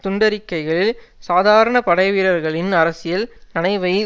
துண்டறிக்கைகளில் சாதாரண படைவீரர்களின் அரசியல் நனைவை